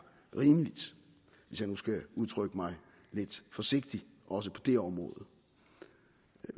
rimeligt hvis jeg nu skal udtrykke mig lidt forsigtigt også på det område